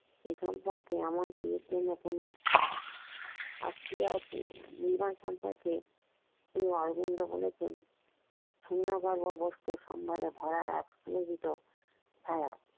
এখান কার এমন কিছুর জন্য কোন আশা ছিল না সম্পর্কে শ্রি অরবিন্দ বলেছেন সোনা দানা বস্তু তেমন কিছুর জন